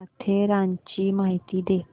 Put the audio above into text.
माथेरानची माहिती दे